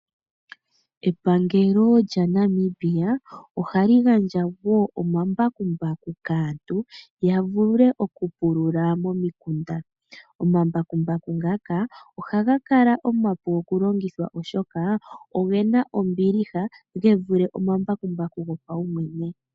Epangelo lyaNamibia oha li gandja wo omambakumbaku kaantu ya vule okupulula momikunda. Omambakumbaku ngaka ohaga kala omapu okulongithwa oshoka oge na ombiliha ge vule omambakumbaku go paumwene.